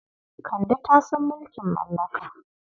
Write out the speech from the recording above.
Kande ta san mulkin mallaka.